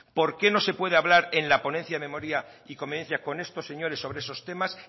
por qué no se puede hablar en la ponencia de memoria y convivencia con estos señores sobre esos temas